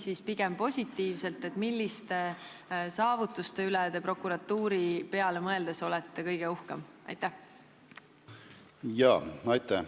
Võite ka vastata positiivselt lähtekohalt, milliste prokuratuuri saavutuste üle te kõige uhkem olete.